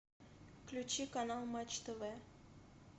включи канал матч тв